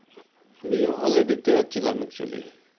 আমি হলে দেখতে যাচ্ছিলাম actually